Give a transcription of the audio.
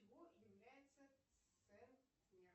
чего является центнер